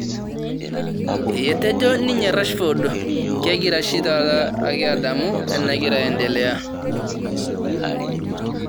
Etejo ninye Rashford kegira oshi taata ake adamu enagira aendelea